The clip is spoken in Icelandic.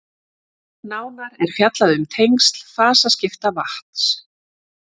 nánar er fjallað um tengsl fasaskipta vatns